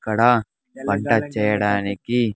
ఇక్కడ వంట చేయడానికి.